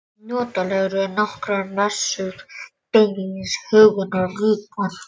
Notalegri en nokkur messa, beinlínis huggunarríkar.